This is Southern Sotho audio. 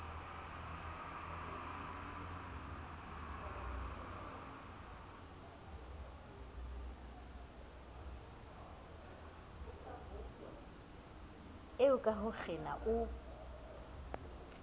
eo ka ho kgena o